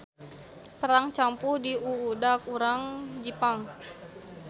Perang campuh diuudag urang Jipang.